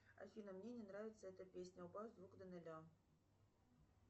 афина мне не нравится эта песня убавь звук до ноля